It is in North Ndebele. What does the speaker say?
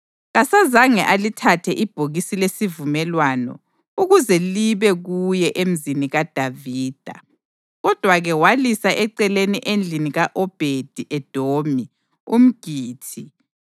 Kasazange alithathe ibhokisi lesivumelwano ukuze libe kuye eMzini kaDavida. Kodwa-ke walisa eceleni endlini ka-Obhedi-Edomi umGithi.